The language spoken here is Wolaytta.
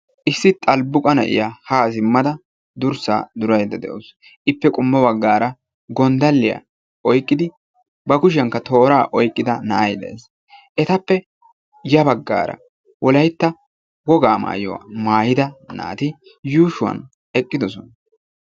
Issi xalbbuqqa na'iya ha simmada durssa duraydda de'awus. ippe qommo baggara gonddaliyaa oyqqidi ba kushiyankka toora oyqqida na'ay de'ees. etappe ya baggara Wolaytta wogaa maayuwa maayida naati yuushuwan eqqidosona.